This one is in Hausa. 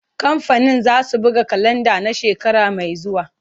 Kamfanin zasu buga kalanda na shekara mai zuwa.